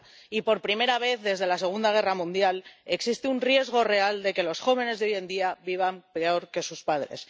30 Y por primera vez desde la Segunda Guerra Mundial existe un riesgo real de que los jóvenes de hoy en día vivan peor que sus padres.